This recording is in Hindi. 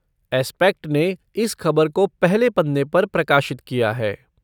एस्पेक्ट ने इस खबर को पहले पन्ने पर प्रकाशित किया है।